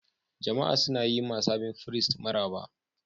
Jama'a suna yi ma sabon firist maraba.